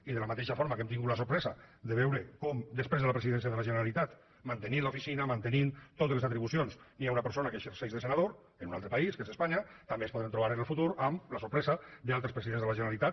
i de la mateixa forma que hem tingut la sorpresa de veure com després de la presidència de la generalitat mantenint l’oficina mantenint totes les atribucions hi ha una persona que exerceix de senador en un altre país que és espanya també ens podrem trobar en el futur amb la sorpresa d’altres presidents de la generalitat